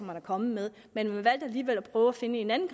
man er kommet med men man valgte alligevel at prøve at finde et andet